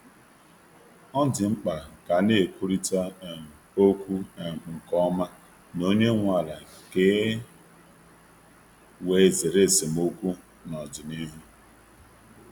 Ọ dị mkpa ka a na-ekwurịta um okwu um nke ọma na onye nwe ala ka e wee zere esemokwu n’ọdịnihu.